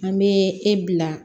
An bɛ e bila